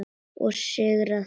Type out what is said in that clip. Og sigrar oftast.